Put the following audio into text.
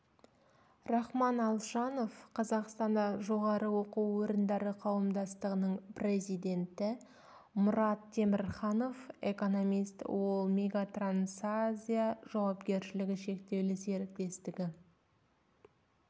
рахман алшанов қазақстан жоғары оқу орындары қауымдастығының президенті мұрат темірханов экономист ол мегатрансазия жауапкершілігі шектеулі серіктестігі